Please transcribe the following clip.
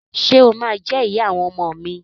Ṣe o ma jẹ ìyá àwọn ọmọ mi?